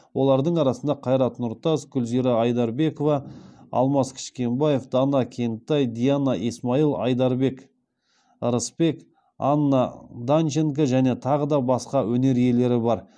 олардың арасында қайрат нұртас гүлзира айдарбекова алмас кішкенбаев дана кентай диана исмаил айдарбек рысбек анна данченко және тағы да басқа өнер иелері бар